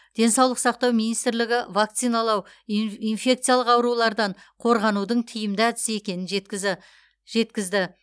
денсаулық сақтау министрлігі вакциналау инфекциялық аурулардан қорғанудың тиімді әдісі екенін жеткізді